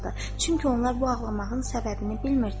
Çünki onlar bu ağlamağın səbəbini bilmirdilər.